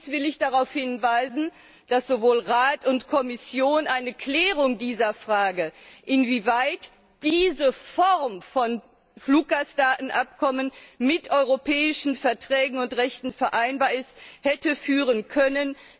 Allerdings will ich darauf hinweisen, dass sowohl Rat als auch Kommission eine Klärung der Frage, inwieweit diese Form von Fluggastdatenabkommen mit europäischen Verträgen und Rechten vereinbar ist, hätten herbeiführen können.